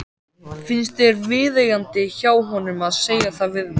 Finnst þér viðeigandi hjá honum að segja það við mig?